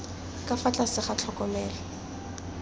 ka fa tlase ga tlhokomelo